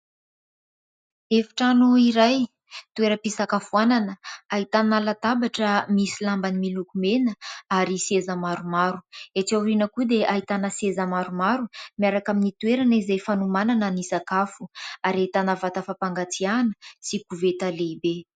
Efitrano iray, toera-pisakafoanana ahitana latabatra misy lambany miloko mena ary seza maromaro. Etsy aoriana koa dia ahitana seza maromaro miaraka amin'ny toerana izay fanomanana ny sakafo ary ahitana vata fampangatsiahana sy koveta lehibe.